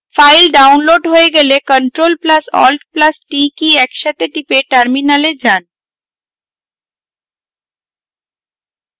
file download হয়ে গেলে ctrl + alt + t কী একসাথে টিপে terminal যান